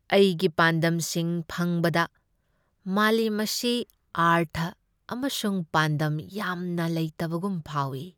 ꯑꯩꯒꯤ ꯄꯥꯟꯗꯝꯁꯤꯡ ꯐꯪꯕꯗ ꯃꯥꯂꯦꯝ ꯑꯁꯤ ꯑꯔꯊ ꯑꯃꯁꯨꯡ ꯄꯥꯟꯗꯝ ꯌꯥꯝꯅ ꯂꯩꯇꯕꯒꯨꯝ ꯐꯥꯎꯏ꯫